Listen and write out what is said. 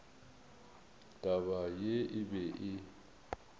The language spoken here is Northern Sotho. taba ye e be e